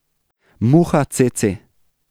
Muha cece.